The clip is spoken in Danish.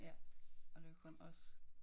Ja og det jo kun os